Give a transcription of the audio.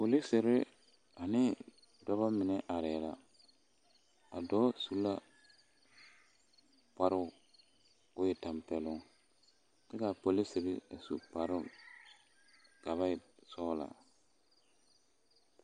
Polisiri ane dɔbɔ mine arɛɛ la a dɔɔ su la kparoo ka o tɛmpɛloŋ ka a polisiri meŋ su kparoo ka a e sɔglɔ .